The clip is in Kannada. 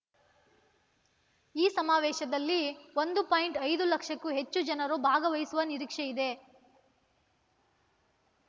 ಈ ಸಮಾವೇಶದಲ್ಲಿ ಒಂದು ಪಾಯಿಂಟ್ ಐದು ಲಕ್ಷಕ್ಕೂ ಹೆಚ್ಚು ಜನರು ಭಾಗವಹಿಸುವ ನಿರೀಕ್ಷೆಯಿದೆ